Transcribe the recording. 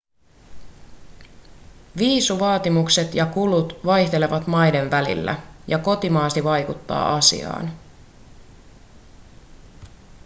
viisumivaatimukset ja kulut vaihtelevat maiden välillä ja kotimaasi vaikuttaa asiaan